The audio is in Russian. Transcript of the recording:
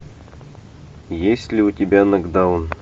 есть ли у тебя нокдаун